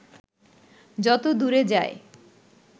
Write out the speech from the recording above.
যত দূরে যায়